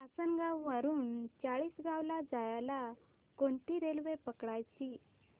आसनगाव वरून चाळीसगाव ला जायला कोणती रेल्वे पकडायची